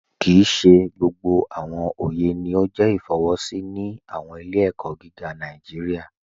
Kíì ṣè gbogbo awọn ọyẹ ni o jẹ ifọwọsi ni awọn ilẹ̀-ẹ̀kọ gígà Nàìjíríà.